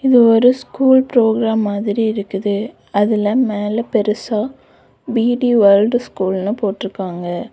இது ஒரு school program மாதிரி இருக்குது அதுல மேல பெருசா பி_டி வேர்ல்ட் ஸ்கூல்னு போட்டுருக்காங்க.